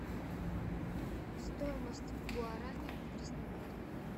стоимость гуарани в краснодаре